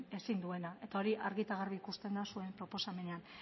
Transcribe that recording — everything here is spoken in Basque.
ezin duena eta hori argi eta garbi ikusten da zuen proposamenean